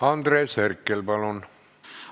Andres Herkel, palun!